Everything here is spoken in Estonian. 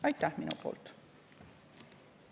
Aitäh minu poolt!